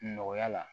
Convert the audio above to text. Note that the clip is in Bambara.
Nɔgɔya la